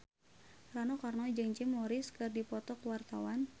Rano Karno jeung Jim Morrison keur dipoto ku wartawan